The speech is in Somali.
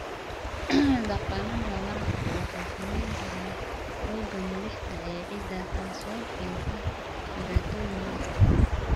Dhaqannada waraabku waxay saamayn karaan xoogga milixda ee ciidda, taasoo keenta dhibaatooyin milix ah.